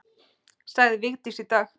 Sagði Vigdís í dag.